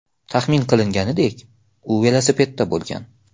Taxmin qilinganidek, u velosipedda bo‘lgan.